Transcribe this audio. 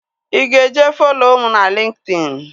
Ị ga-eje follo mụ na LinkedIn?